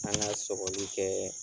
An ŋa sɔgɔli kɛɛ